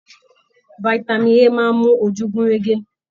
Fitami A máa n mú ojú gun rege.